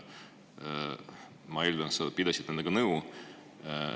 Ma eeldan, et sa pidasid nendega nõu.